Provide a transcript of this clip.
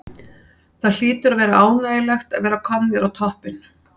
Það hlýtur að vera ánægjulegt að vera komnir á toppinn?